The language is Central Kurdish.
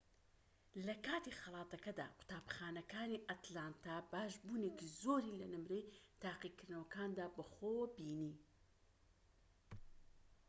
لەکاتی خەڵاتەکەدا قوتابخانەکانی ئەتلانتا باشبوونێکی زۆری لە نمرەی تاقیکردنەوەکاندا بەخۆوە بینی